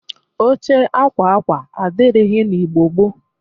Oche akwa akwa adịrịghị n'Igbo gboo.